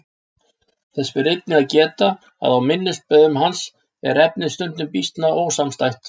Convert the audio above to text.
Þess ber einnig að geta að á minnisblöðum hans er efnið stundum býsna ósamstætt.